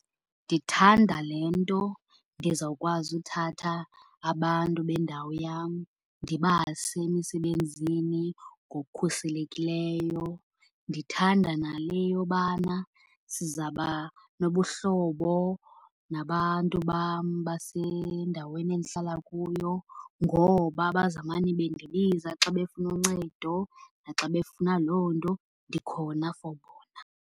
Ndithanda le nto ndizawukwazi uthatha abantu bendawo yam ndibase emisebenzini ngokukhuselekileyo. Ndithanda nale yobana sizaba nobuhlobo nabantu bam basendaweni endihlala kuyo, ngoba bazamane bendibiza xa befuna uncedo naxa befuna loo nto. Ndikhona for bona.